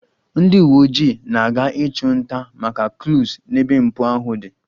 Ndị uweojii na-aga ịchụ nta maka clues n'ebe mpụ ahụ dị